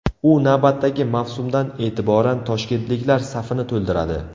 U navbatdagi mavsumdan e’tiboran toshkentliklar safini to‘ldiradi.